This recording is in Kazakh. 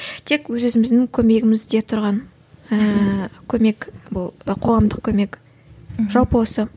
тек өз өзіміздің көмегімізде тұрған ііі көмек бұл қоғамдық көмек жалпы осы